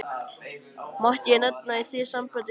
Mætti ég nefna í því sambandi syni mína.